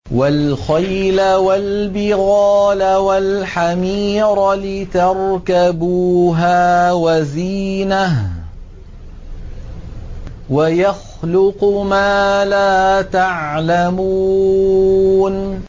وَالْخَيْلَ وَالْبِغَالَ وَالْحَمِيرَ لِتَرْكَبُوهَا وَزِينَةً ۚ وَيَخْلُقُ مَا لَا تَعْلَمُونَ